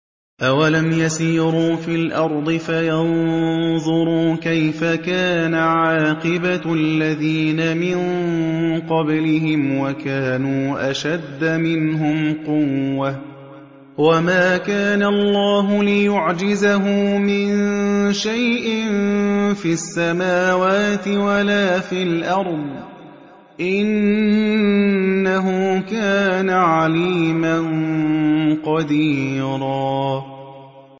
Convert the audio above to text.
أَوَلَمْ يَسِيرُوا فِي الْأَرْضِ فَيَنظُرُوا كَيْفَ كَانَ عَاقِبَةُ الَّذِينَ مِن قَبْلِهِمْ وَكَانُوا أَشَدَّ مِنْهُمْ قُوَّةً ۚ وَمَا كَانَ اللَّهُ لِيُعْجِزَهُ مِن شَيْءٍ فِي السَّمَاوَاتِ وَلَا فِي الْأَرْضِ ۚ إِنَّهُ كَانَ عَلِيمًا قَدِيرًا